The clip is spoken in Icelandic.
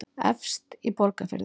efst í borgarfirði